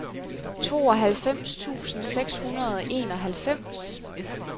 tooghalvfems tusind seks hundrede og enoghalvfems